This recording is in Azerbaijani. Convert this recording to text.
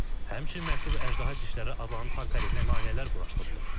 Həmçinin məşhur əjdaha dişləri adlanan tank əleyhinə maneələr quraşdırılır.